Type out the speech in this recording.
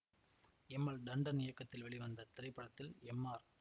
M L Tandon இயக்கத்தில் வெளிவந்த இத்திரைப்படத்தில் எம் ஆர்